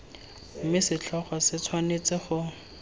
mme setlhogo se tshwanetse go